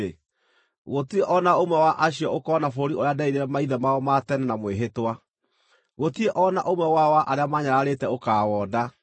gũtirĩ o na ũmwe wa acio ũkoona bũrũri ũcio nderĩire maithe mao ma tene na mwĩhĩtwa. Gũtirĩ o na ũmwe wao wa arĩa maanyararĩte ũkaawona.